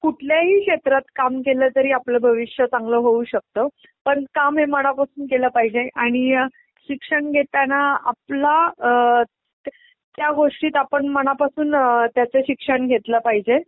कुठल्याही क्षेत्रात काम केलं तरी आपलं भविष्य चांगलं होऊ शकत, पण काम हे मनापासून केलं पाहिजे आणि शिक्षण घेताना आपला अअअ त्या गोष्टीत आपण मनापासून अअअ त्याच शिक्षण घेतलं पाहिजे.